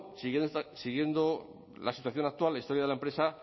siguiendo la situación actual la historia de la empresa